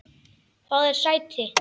Fáðu þér sæti.